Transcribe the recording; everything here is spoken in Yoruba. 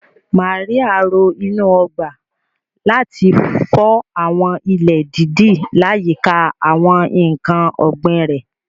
Màríà ro inú ọgbà, láti fọ àwọn ilẹ̀ dídì láyìíká àwọn ǹkan ọ̀gbìn rẹ̀.